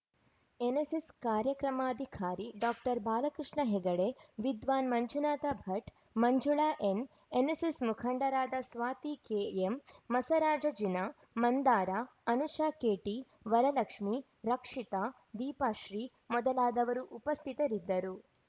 NSS ಕಾರ್ಯಕ್ರಮಾಧಿಕಾರಿ doctor Balakrishna Hegde ವಿದ್ವಾನ್‌ Manjunatha Bhat Manjula N ಎನ್‌ಎಸ್‌ಎಸ್‌ಮುಖಂಡರಾದ ಸ್ವಾತಿ ಕೆಎಂ ಮಸರಾಜಜಿನಾ ಮಂದಾರ ಅನುಷಾ ಕೆಟಿ ವರಲಕ್ಷ್ಮೀ ರಕ್ಷಿತಾ ದೀಪಶ್ರೀ ಮೊದಲಾದವರು ಉಪಸ್ಥಿತರಿದ್ದರು